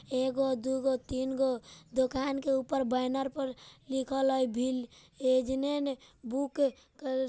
एगो दू गो तीन गो दुकान के ऊपर बैनर पर लिखल हई भिल एजने ने बुक --